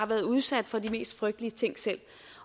været udsat for de mest frygtelige ting